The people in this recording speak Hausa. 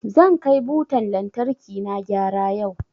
Zan kai butan lantarkina gyara yau.